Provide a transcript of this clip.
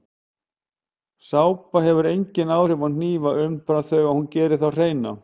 Sápa hefur engin áhrif á hnífa umfram þau að hún gerir þá hreina.